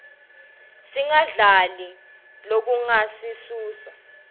singadli lokungasiuuusa